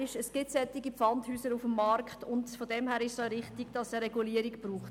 Es gibt solche Pfandhäuser auf dem Markt, und so ist auch eine Regulierung nötig.